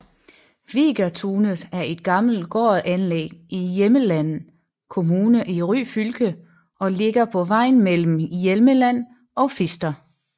Vigatunet er et gammelt gårdanlæg i Hjelmeland kommune i Ryfylke og ligger på vejen mellem Hjelmeland og Fister